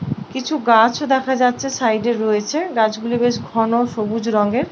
কিছু গাছ দেখা যাচ্ছে সাইডে রয়েছে গাছগুলি বেশ ঘন সবুজ রঙের।